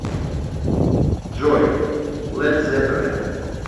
джой лед зеппелин